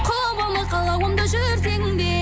құбылы қалауымда жүрсең де